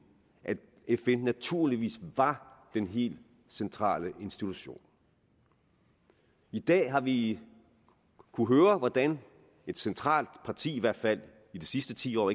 at fn naturligvis var den helt centrale institution i dag har vi kunnet høre hvordan et centralt parti i hvert fald i de sidste ti år og